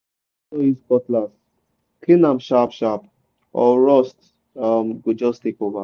after you don use cutlass clean am sharp sharp or rust um go just take over.